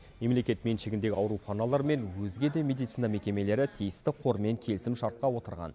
мемлекет меншігіндегі ауруханалар мен өзге де медицина мекемелері тиісті қормен келісімшартқа отырған